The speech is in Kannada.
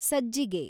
ಸಜ್ಜಿಗೆ